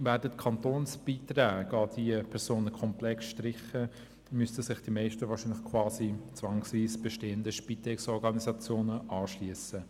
Werden die Kantonsbeiträge an diese Personen komplett gestrichen, müssten sich wohl die meisten gezwungenermassen einer bestehenden Spitex-Organisation anschliessen.